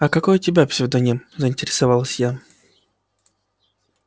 а какой у тебя псевдоним заинтересовалась я